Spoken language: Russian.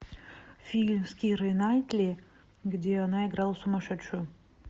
фильм с кирой найтли где она играла сумасшедшую